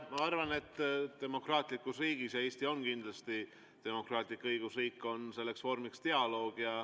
Ma arvan, et demokraatlikus riigis – ja Eesti kindlasti on demokraatlik õigusriik – on selleks vormiks dialoog.